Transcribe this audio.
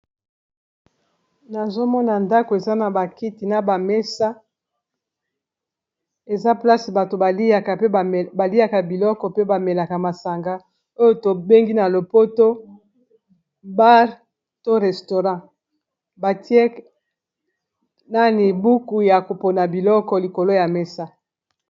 Nazomona ndako eza na bakiti na ba mesa eza place bato ba liaka biloko pe ba melaka masanga oyo tobengi na lopoto bar to restaurant batie nani buku ya ko pona biloko likolo ya mesa.